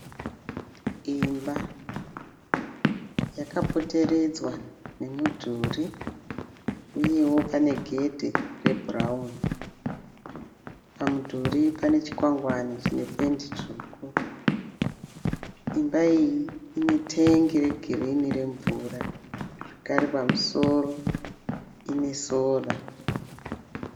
Imba yakapoteredzwa nemudhuri uyewo panegedhe rebhurauni. Pamudhuri pane chikwangwani chine pendi tsvuku. Imba iyi inetengi regirini remvura zvakare pamusoro pane sora.